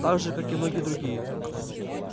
так же как и многие другие